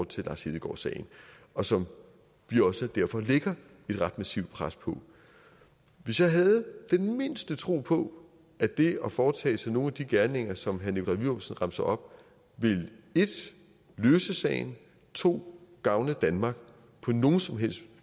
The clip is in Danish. til lars hedegaard sagen og som vi også derfor lægger et ret massivt pres på hvis jeg havde den mindste tro på at det at foretage sig nogen af de gerninger som herre nikolaj villumsen remser op vil 1 løse sagen 2 gavne danmark på nogen som helst